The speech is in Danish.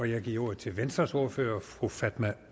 jeg giver ordet til venstres ordfører fru fatma